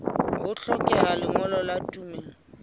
ho hlokeha lengolo la tumello